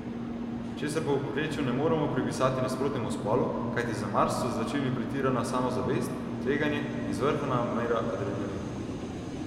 Česar pa v povprečju ne moremo pripisati nasprotnemu spolu, kajti za Mars so značilni pretirana samozavest, tveganje in zvrhana mera adrenalina.